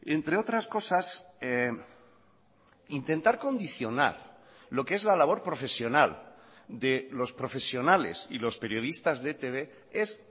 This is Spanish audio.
entre otras cosas intentar condicionar lo que es la labor profesional de los profesionales y los periodistas de etb es